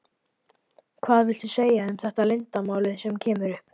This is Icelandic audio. Hvað viltu segja um þetta leiðindamál sem kemur upp?